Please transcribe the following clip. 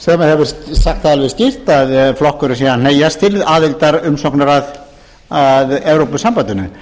sem hefur sagt það alveg skýrt að flokkurinn sé að hneigjast til aðildarumsóknar að evrópusambandinu